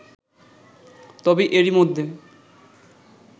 তবে এরই মধ্যে